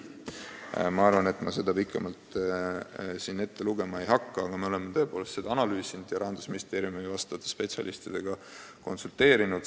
Ma ei hakka seda siin pikemalt ette lugema, aga me oleme tõepoolest seda analüüsinud ja Rahandusministeeriumi spetsialistidega konsulteerinud.